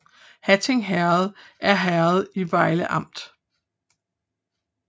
Hatting Herred er herred i Vejle Amt